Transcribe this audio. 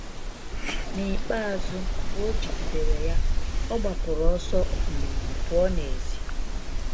N’ikpeazụ, mgbe o jigidere ya, ọ gbapụrụ ọsọ um pụọ n’èzí.